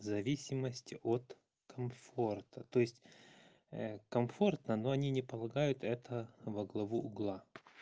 в зависимости от комфорта то есть комфортно но они не полагают это во главу угла